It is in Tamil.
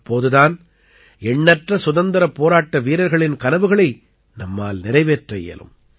அப்போது தான் எண்ணற்ற சுதந்திரப் போராட்ட வீரர்களின் கனவுகளை நம்மால் நிறைவேற்ற இயலும்